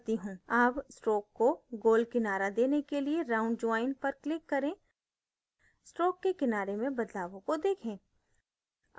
अब stroke को गोल किनारा देने के लिए round join पर click करें stroke के किनारे में बदलावों को देखें